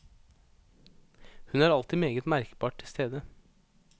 Hun er alltid meget merkbart til stede.